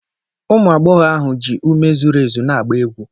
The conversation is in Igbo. Ụmụ agbọghọ ahụ ji ume zuru ezu na-agba egwu